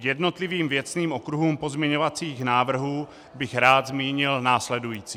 K jednotlivým věcným okruhům pozměňovacích návrhů bych rád zmínil následující.